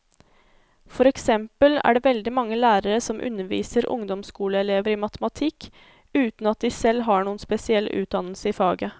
For eksempel er det veldig mange lærere som underviser ungdomsskoleelever i matematikk, uten at de selv har noen spesiell utdannelse i faget.